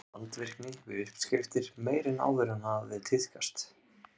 Tamdi hann þeim vandvirkni við uppskriftir meiri en áður hafði tíðkast.